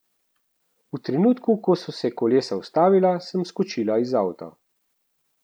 V trenutku, ko so se kolesa ustavila, sem skočila iz avta.